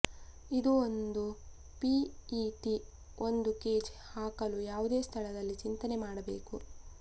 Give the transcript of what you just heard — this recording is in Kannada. ಇದು ಒಂದು ಪಿಇಟಿ ಒಂದು ಕೇಜ್ ಹಾಕಲು ಯಾವುದೇ ಸ್ಥಳದಲ್ಲಿ ಚಿಂತನೆ ಮಾಡಬೇಕು